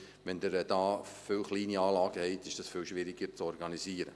Wenn Sie viele kleine Anlagen haben, ist dies viel schwieriger zu organisieren.